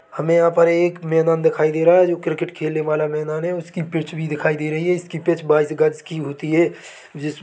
हमे यहाँ पर एक मैदान दिखाई दे रहा है जो क्रिकेट खेलने वाला मैदान है उसकी पिच भी दिखाई दे रही है उसकी पिच बैइस ग़ज़ की होती है जिस --